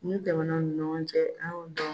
Min tɛmɛna u ni ɲɔgɔn cɛ an y'o dɔn